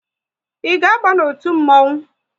Ị ga aba n'otu mmonwu?